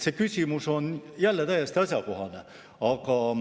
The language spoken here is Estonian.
See küsimus on jälle täiesti asjakohane.